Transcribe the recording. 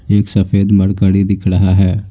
एक सफेद मरकरी दिख रहा है।